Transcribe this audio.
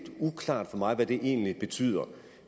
uklart for mig hvad det egentlig betyder